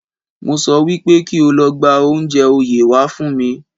Mo sọ wípé kí o lọ gba oúnjẹ oyè wá fún mi